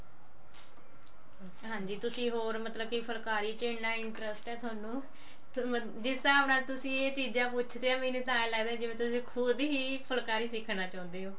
ਹਾਂਜੀ ਤੁਸੀਂ ਹੋਰ ਮਤਲਬ ਕੀ ਫੁਲਕਾਰੀ ਚ ਇੰਨਾ interest ਹੈ ਥੋਨੂੰ ਜਿਸ ਹਿਸਾਬ ਨਾਲ ਤੁਸੀਂ ਇਹ ਚੀਜ਼ਾਂ ਪੁੱਛਦੇ ਹੋ ਮੈਨੂੰ ਤਾਂ ਏਵੇਂ ਲੱਗਦਾ ਜਿਵੇਂ ਤੁਸੀਂ ਖੁਦ ਹੀ ਫੁਲਕਾਰੀ ਸਿੱਖਣਾ ਚਾਹੁੰਦੇ ਹੋ